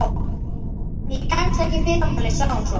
Ég kemst ekki í fyrramálið, sagði hún svo.